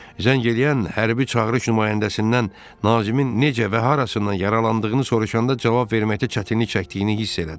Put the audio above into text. Zəng eləyən hərbi çağırış nümayəndəsindən Nazimin necə və harasından yaralandığını soruşanda cavab verməkdə çətinlik çəkdiyini hiss elədim.